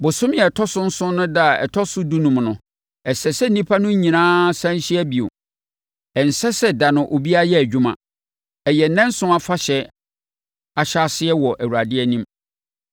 “ ‘Bosome a ɛtɔ so nson no ɛda a ɛtɔ so dunum no, ɛsɛ sɛ nnipa no nyinaa sane hyia bio. Ɛnsɛ sɛ ɛda no, obiara yɛ adwuma. Ɛyɛ nnanson afahyɛ ahyɛaseɛ wɔ Awurade anim.